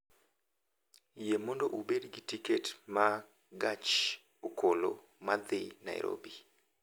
Yie mondo ubed gi tiket ma gach okoloma dhi Nairobi